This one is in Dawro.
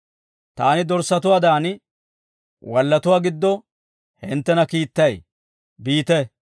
Taani dorssatuwaadan wallatuwaa giddo hinttena kiittay, biite.